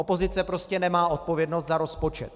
Opozice prostě nemá odpovědnost za rozpočet.